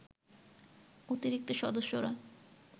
অতিরিক্ত সদস্যরা